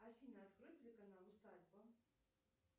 афина открой телеканал усадьба